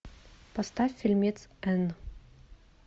поставь фильмец энн